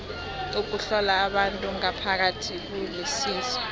ukuhlola abantu ngaphakathi kulisizo